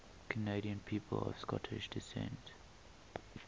canadian people of scottish descent